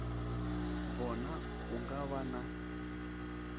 vhona u nga vha na